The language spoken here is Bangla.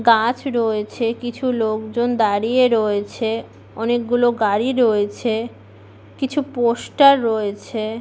গাছ রয়েছে কিছু লোকজন দাঁড়িয়ে রয়েছে। অনেকগুলো গাড়ি রয়েছে কিছু পোস্টার রয়েছে --